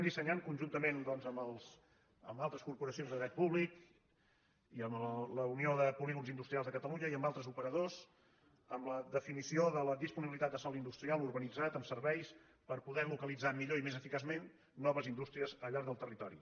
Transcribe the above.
dissenyem conjuntament amb altres corporacions de dret públic i amb la unió de polígons industrials de ca·talunya i amb altres operadors la definició de la dispo·nibilitat de sòl industrial urbanitzat amb serveis per poder localitzar millor i més eficaçment noves indústri·es al llarg del territori